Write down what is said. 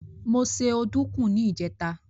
Mo se ọdùkún ní ìjẹ́ta.